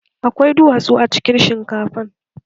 Akwai duwatsu a cikin shinkafan?